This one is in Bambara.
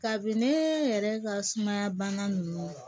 Kabini ne yɛrɛ ka sumaya bana ninnu